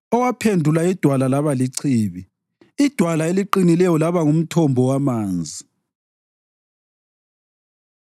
owaphendula idwala laba lichibi, idwala eliqinileyo laba ngumthombo wamanzi.